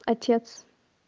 отец